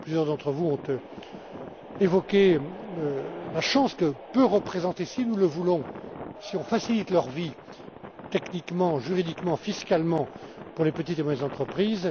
Plusieurs d'entre vous ont évoqué la chance que cela peut représenter si nous le voulons si nous facilitons leur vie techniquement, juridiquement, fiscalement pour les petites et moyennes entreprises.